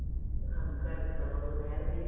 സംസാരിച്ചത്. അപ്പൊ അത് ഒരു വേറെ